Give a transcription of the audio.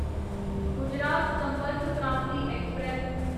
Gujarat Sampark Kranti express